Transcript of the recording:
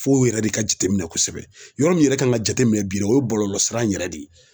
Fo o yɛrɛ de ka jateminɛ kosɛbɛ yɔrɔ min yɛrɛ kan ka jate minɛ bi o ye bɔlɔlɔsira in yɛrɛ de ye